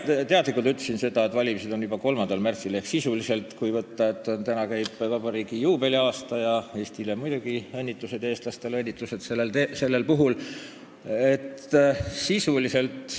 Ma ütlesin teadlikult seda, et valimised on juba 3. märtsil 2019 ehk sisuliselt, kui arvestada, et praegu käib vabariigi juubeliaasta tähistamine – Eestile ja eestlastele muidugi õnnitlused sellel puhul!